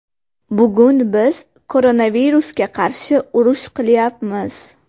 Bugun biz koronavirusga qarshi urush qilyapmiz.